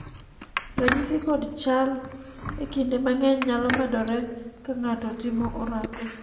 ranyisi kod chal e kinde mang'eny nyalo medore ka ng'ato timo orako